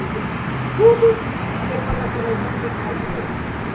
Eu dizia, tudo e depois a seleção quem faz, sou eu.